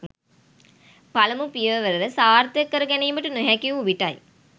පළමු පියවර සාර්ථක කර ගැනීමට නොහැකි වූ විටයි.